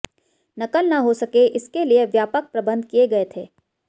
नक़ल न हो सके इसके लिए व्यापक प्रबंध किये गए थे